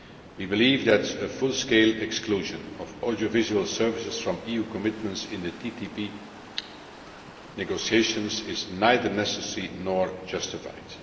We believe that a full scale exclusion of audiovisual services from EU commitments in the TTIP negotiations is neither necessary nor justified.